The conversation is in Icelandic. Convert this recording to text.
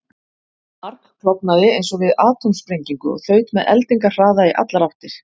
Það margklofnaði eins og við atómsprengingu og þaut með eldingarhraða í allar áttir.